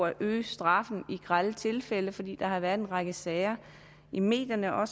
at øge straffen i grelle tilfælde fordi der har været en række sager i medierne om